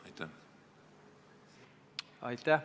Aitäh!